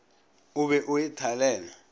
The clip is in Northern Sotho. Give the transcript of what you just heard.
o be o e thalele